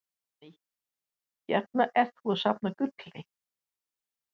Guðný: Hérna ertu að safna gulli?